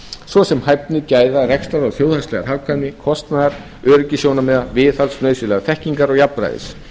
svo sem hæfni gæða rekstrar og þjóðhagslegrar hagkvæmni kostnaðar öryggissjónarmiða viðhalds nauðsynlegrar þekkingar og jafnræðis